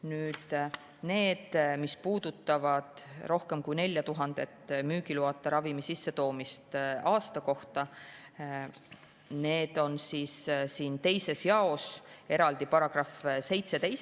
Nüüd, mis puudutab rohkem kui 4000 müügiloata ravimi sissetoomist aastas, siis seda käsitleb 2. jaos eraldi paragrahv 17.